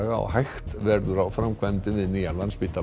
og hægt verður á framkvæmdum við nýjan Landspítala